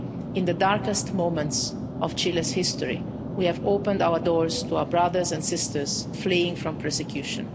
In the darkest moments of Chile's history, we opened our doors to our brothers and sisters fleeing from persecution.